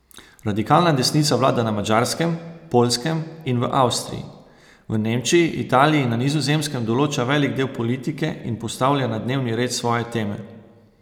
Radikalna desnica vlada na Madžarskem, Poljskem in v Avstriji, v Nemčiji, Italiji in na Nizozemskem določa velik del politike in postavlja na dnevni red svoje teme.